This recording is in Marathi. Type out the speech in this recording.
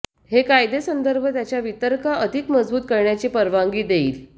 हे कायदे संदर्भ त्यांच्या वितर्क अधिक मजबूत करण्याची परवानगी देईल